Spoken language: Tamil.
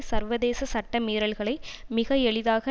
சர்வதேச சட்ட மீறல்களை மிக எளிதாக